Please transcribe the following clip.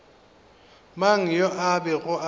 mang yo a bego a